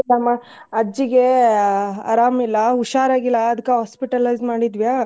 ನಮ್ಮ ಅಜ್ಜಿಗೆ ಆ ಅರಾಮ್ ಇಲ್ಲಾ ಹುಷಾರಾಗಿಲ್ಲಾ ಅದ್ಕ hospitalize ಮಾಡಿದ್ವಿಯಾ.